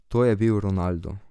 To je bil Ronaldo.